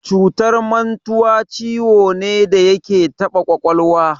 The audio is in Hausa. Cutar mantuwa ciwo ne da yake taɓa ƙwaƙwalwa.